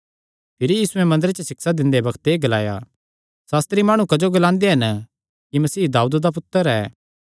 भिरी यीशुयैं मंदरे च सिक्षा दिंदे बग्त एह़ ग्लाया सास्त्री माणु क्जो ग्लांदे हन कि मसीह दाऊद दा पुत्तर ऐ